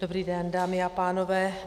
Dobrý den, dámy a pánové.